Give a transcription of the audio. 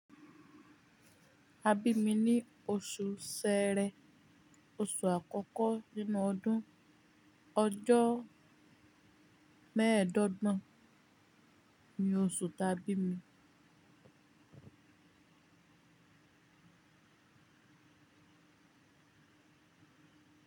Abimi ni oṣù Sẹẹrẹ. Oṣù àkọ́kọ́ nínú ọdún. Ọjọ́ mẹ́ẹ̀dọ́gbọ̀n ni oṣù taa bí mi.